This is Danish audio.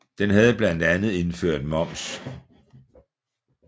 Den havde blandt andet indført moms